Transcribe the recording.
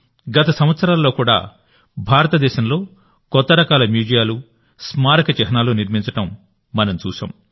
గత సంవత్సరాల్లో కూడాభారతదేశంలో కొత్త రకాల మ్యూజియాలు స్మారక చిహ్నాలు నిర్మించడం మనం చూశాం